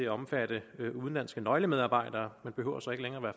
at omfatte udenlandske nøglemedarbejdere man behøver så ikke længere